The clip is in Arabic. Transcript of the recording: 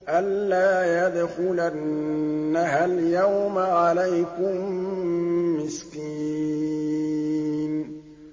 أَن لَّا يَدْخُلَنَّهَا الْيَوْمَ عَلَيْكُم مِّسْكِينٌ